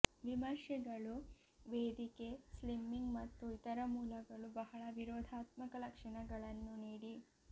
ವಿಮರ್ಶೆಗಳು ವೇದಿಕೆ ಸ್ಲಿಮ್ಮಿಂಗ್ ಮತ್ತು ಇತರ ಮೂಲಗಳು ಬಹಳ ವಿರೋಧಾತ್ಮಕ ಲಕ್ಷಣಗಳನ್ನು ನೀಡಿ